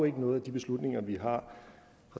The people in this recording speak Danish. ikke noget at de beslutninger vi